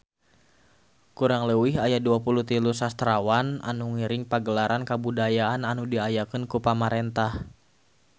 Kurang leuwih aya 23 sastrawan anu ngiring Pagelaran Kabudayaan anu diayakeun ku pamarentah